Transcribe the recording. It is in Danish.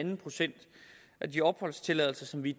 en procent af de opholdstilladelser som vi